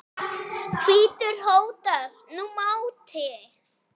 hvítur hótar nú máti.